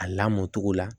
A lamɔcogo la